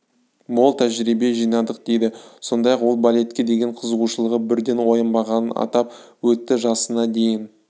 мол тәжірибе жинадық дейді сондай-ақ ол балетке деген қызығушылығы бірден оянбағанын атап өтті жасына дейін